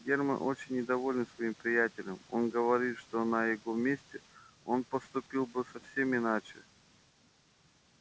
германн очень недоволен своим приятелем он говорит что на его месте он поступил бы совсем иначе